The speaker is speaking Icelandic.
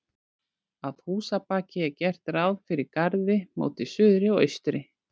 Að húsabaki er gert ráð fyrir garði móti suðri og austri.